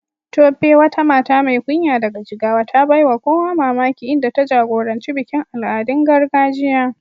Tope, wata mata mai kunya daga Jigawa, ta baiwa kowa mamaki inda ta jagoranci bikin al'adun gargajiya.